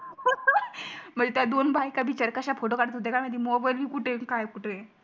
म्हणजे त्या दोन बायका बिचाऱ्या कश्या फोटो काडत होत्या काय माहिती मोबाइल बी कुठे काय कुठे